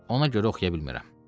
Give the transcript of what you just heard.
Ona görə oxuya bilmirəm.